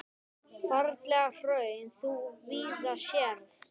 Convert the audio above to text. Ferlegt hraun þú víða sérð.